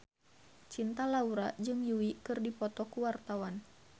Cinta Laura jeung Yui keur dipoto ku wartawan